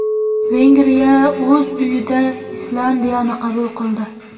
Vengriya o‘z uyida Islandiyani qabul qildi.